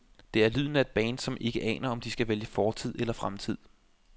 Det er lyden af et band, som ikke aner, om de skal vælge fortid eller fremtid.